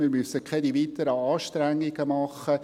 Wir müssen keine weiteren Anstrengungen machen.